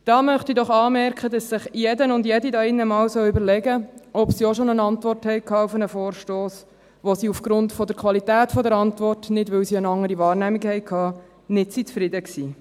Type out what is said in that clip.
Da möchte ich doch anmerken, dass sich jeder und jede hier drin einmal überlegen sollte, ob Sie auch schon eine Antwort erhalten haben auf einen Vorstoss, bei der Sie aufgrund der Qualität der Antwort, nicht, weil sie eine andere Wahrnehmung hatten, nicht zufrieden waren.